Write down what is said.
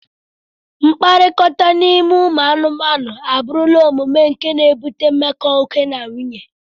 Mkpakọrịta n'ime ụmụ anụmanụ, abụrụla omume nke na-ebute mmekọ oke na nwunye.